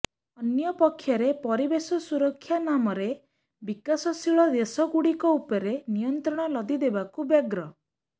ଅନ୍ୟପକ୍ଷରେ ପରିବେଶ ସୁରକ୍ଷା ନାମରେ ବିକାଶଶୀଳ ଦେଶ ଗୁଡ଼ିକ ଉପରେ ନିୟନ୍ତ୍ରଣ ଲଦି ଦେବାକୁ ବ୍ୟଗ୍ର